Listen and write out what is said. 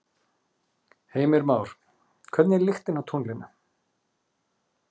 Heimir Már: Hvernig er lyktin á tunglinu?